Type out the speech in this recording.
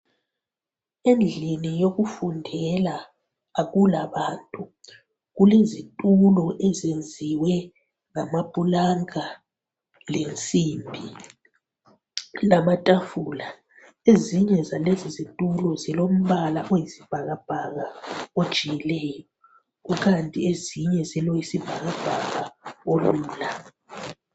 Endlini yokufundela akula bantu. Kulezithulo eziyenziwe ngamaphilanga lensimbi lamathafula. Ezinge zalezi zithulo zilombala oyisibhakabhaka ojikileyo, kukanti ezinye zileoyisibhakabhaka olula.